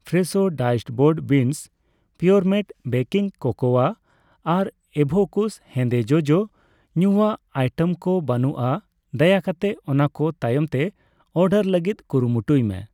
ᱯᱷᱨᱮᱥᱷᱳ ᱰᱟᱭᱤᱥᱰ ᱵᱳᱨᱰ ᱵᱤᱱᱥ, ᱯᱩᱨᱟᱢᱮᱴ ᱵᱮᱠᱤᱝ ᱠᱳᱠᱳᱣᱟ ᱟᱨ ᱤᱵᱷᱳᱠᱩᱥ ᱦᱮᱸᱫᱮ ᱡᱚᱡᱚ ᱧᱩᱭᱟᱜ ᱟᱭᱴᱮᱢ ᱠᱚ ᱵᱟᱹᱱᱩᱜᱼᱟ, ᱫᱟᱭᱟ ᱠᱟᱛᱮ ᱚᱱᱟᱠᱚ ᱛᱟᱭᱚᱢᱛᱮ ᱚᱨᱰᱟᱨ ᱞᱟᱹᱜᱤᱫ ᱠᱩᱨᱩᱢᱩᱴᱩᱭ ᱢᱮ ᱾